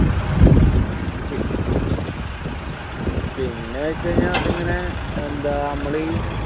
പിന്നെ വെച്ച് കഴിഞ്ഞ അതിങ്ങനെ എന്താ നമ്മൾ